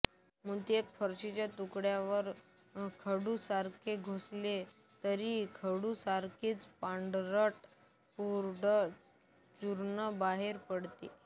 मोती एका फरशीच्या तुकडयावर खडूसारखे घासले तर खडूसारखीच पांढरट पूड चूर्ण बाहेर पडते